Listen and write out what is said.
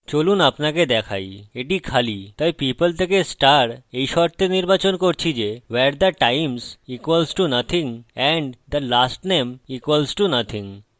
চলুন আপনাকে দেখাই এটি খালি তাই people থেকে star এই শর্তে নির্বাচন করছি যে where the times equals to nothing and the lastname equals to nothing